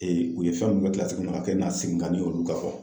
u ye fɛn mun kɛ a kɛ na segin ka ne ye olu ka fɔ.